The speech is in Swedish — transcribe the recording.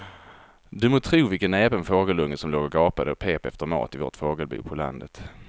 Du må tro vilken näpen fågelunge som låg och gapade och pep efter mat i vårt fågelbo på landet.